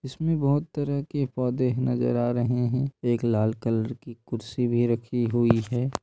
इसमें बहुत तरह के पौधे नजर आ रहे है एक लाल कलर के कुर्सी भी रखी हुई है ।